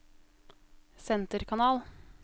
senterkanal